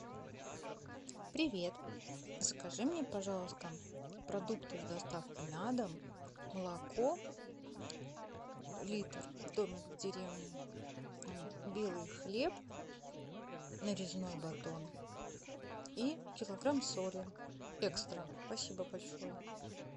привет закажи мне пожалуйста продукты с доставкой на дом молоко литр домик в деревне белый хлеб нарезной батон и килограмм соли экстра спасибо большое